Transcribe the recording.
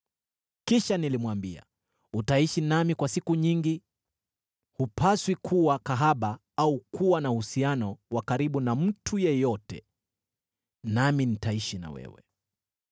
Kisha nilimwambia, “Utaishi nami kwa siku nyingi, hupaswi kuwa kahaba au kuwa na uhusiano wa karibu na mtu yeyote, nami nitaishi na wewe.”